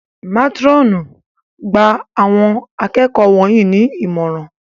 Métírọ̀nù! Gba Àwọn akẹ́kọ̀ọ́ wọ̀nyí ní ìmọ̀ràn!